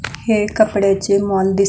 हे कपड्याचे मॉल दिस --